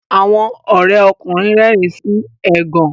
Àwọn Ore ọkùnrin rérìn sí ẹgàn.